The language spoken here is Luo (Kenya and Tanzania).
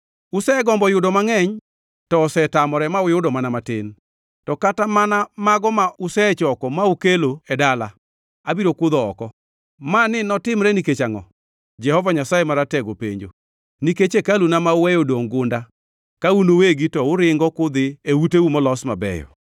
“Usegombo yudo mangʼeny, to osetamore ma uyudo mana matin; to kata mana mano mago ma usechoko mukeloe dala, abiro kudho oko. Mani notimore nikech angʼo?” Jehova Nyasaye Maratego penjo. “Nikech hekaluna ma uweyo odongʼ gunda, ka un uwegi to uringo kudhi e uteu molos mabeyo.